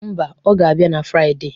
Mba, ọ ga-abịa na Friade.